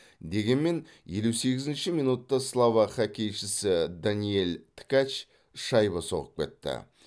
дегенмен елу сегізінші минутта словак хоккейшісі даниэль ткач шайба соғып кетті